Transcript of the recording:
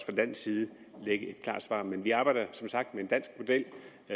dansk side ligge et klart svar men vi arbejder som sagt med en dansk model